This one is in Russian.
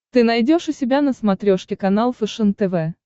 ты найдешь у себя на смотрешке канал фэшен тв